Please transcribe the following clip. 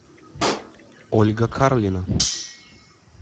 ольга карлина